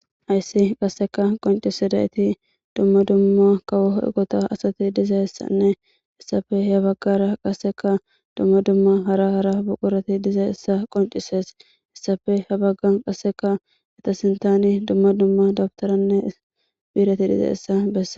hayssi qasseka qoncisidayiti dumma dumma kawohoe gota asati diza hessanne essafe he baggara qasseka dumma dumma hara hara buqurati diza issa qoncisees essafe he baggan qasseka eta sintani dumma dumma dabtaranne biireti diza issa bessa